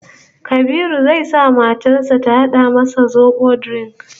Kabiru zai sa matar sa ta hada masa zobo drink